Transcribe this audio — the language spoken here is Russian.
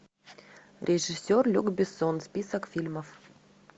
режиссер люк бессон список фильмов